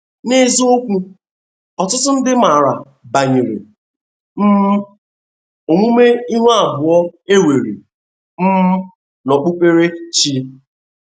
N’eziokwu, ọtụtụ ndị maara banyere um omume ihu abụọ e nwere um n’okpukpere chi